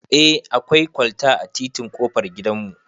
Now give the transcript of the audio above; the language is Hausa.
Eh akwai kwalta a titin ƙofar gidan mu